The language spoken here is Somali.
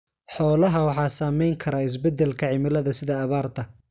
Xoolaha waxa saamayn kara is bedelka cimilada sida abaarta.